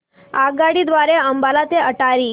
आगगाडी द्वारे अंबाला ते अटारी